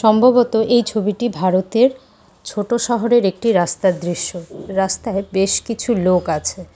সম্ভবত এই ছবিটি ভারতের ছোট শহরের একটি রাস্তার দৃশ্য রাস্তায় বেশ কিছু লোক আছে।